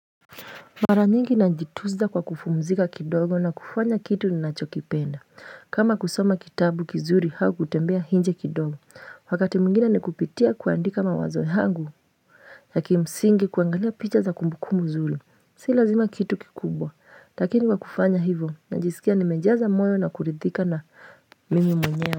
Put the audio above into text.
Mara nyingi najitunza kwa kupumzika kidogo na kufanya kitu ninacho kipenda kama kusoma kitabu kizuri au kutembea nje kidogo Wakati mwingine ni kupitia kuandika mawazo yangu ya kimsingi kuangalia picha za kumbukumbu mzuri Si lazima kitu kikubwa Lakini kwa kufanya hivo najisikia nimejaza moyo na kuridhika na mimi mwenyewe.